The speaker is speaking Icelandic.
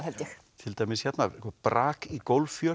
til dæmis hérna brak í